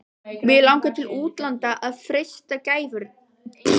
Mig langar til útlanda að freista gæfunnar.